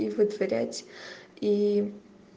и вытворять и